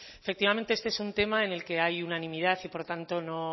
efectivamente este es un tema en el que hay unanimidad y por tanto